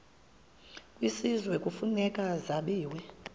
kwisizwe kufuneka zabiwe